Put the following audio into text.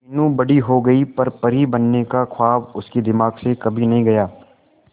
मीनू बड़ी हो गई पर परी बनने का ख्वाब उसके दिमाग से कभी नहीं गया